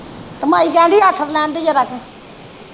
ਤੇ ਮਾਈ ਕਹਿਣਦੀ ਹੀ ਆਠਰ ਲੈਣ ਦੇ ਜ਼ਰਾ ਕ